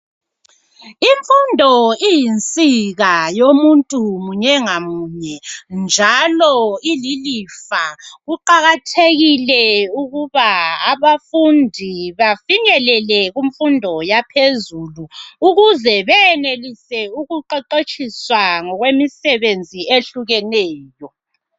Imfundo iyinsika yomuntu munye ngamunye njalo ililifa kuqakathekile ukuba abafundi bafinyelele kumfundo yaphezulu ukuze benelise ukuqeqetshiswa ngokwemisebenzi ehlukeneyo.